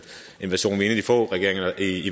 ikke